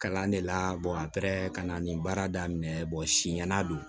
Kalan de la a pɛrɛ ka na nin baara daminɛ siɲɛna don